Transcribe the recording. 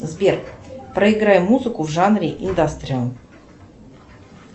сбер проиграй музыку в жанре индастриал